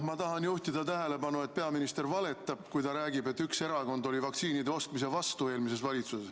Ma tahan juhtida tähelepanu, et peaminister valetab, kui ta räägib, et üks erakond eelmises valitsuses oli vaktsiinide ostmise vastu.